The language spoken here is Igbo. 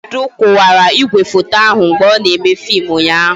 Chinedu kụwara igwefoto ahụ mgbe ọ na-eme fim ụnyaahụ